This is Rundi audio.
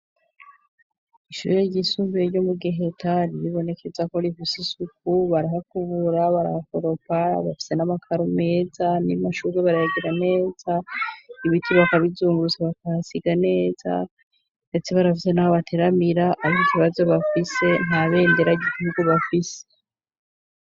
Ishure ry'isumbuye ryo mu Giheta, ryibonekeza ko rifise isuku barahakubura, barahakoropa, bafise n'amakaru meza, n'amashurwe barayagira neza, ibiti bakabizungurutsa bakahasiga neza, ndetse barafise naho bateramira ata kibazo bafise, nta bendera ry'igihugu bafise.